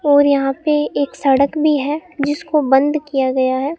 और यहां पे एक सड़क भी है जिसको बंद किया गया है।